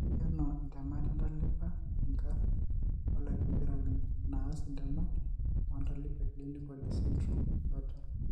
Keikenu intemat entalipa inkarn oolabaratorini naas intemat oontalip eclinical esindirom eBartter.